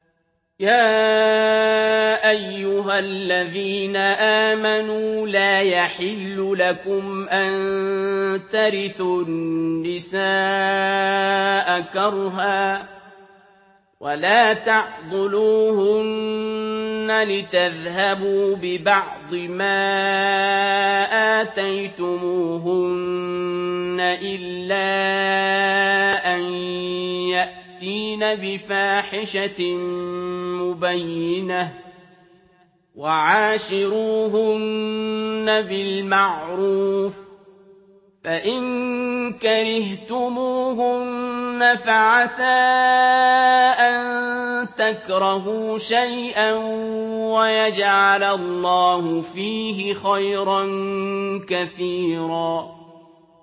يَا أَيُّهَا الَّذِينَ آمَنُوا لَا يَحِلُّ لَكُمْ أَن تَرِثُوا النِّسَاءَ كَرْهًا ۖ وَلَا تَعْضُلُوهُنَّ لِتَذْهَبُوا بِبَعْضِ مَا آتَيْتُمُوهُنَّ إِلَّا أَن يَأْتِينَ بِفَاحِشَةٍ مُّبَيِّنَةٍ ۚ وَعَاشِرُوهُنَّ بِالْمَعْرُوفِ ۚ فَإِن كَرِهْتُمُوهُنَّ فَعَسَىٰ أَن تَكْرَهُوا شَيْئًا وَيَجْعَلَ اللَّهُ فِيهِ خَيْرًا كَثِيرًا